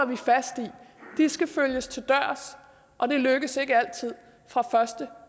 vi fast i de skal følges til dørs og det lykkes ikke altid fra første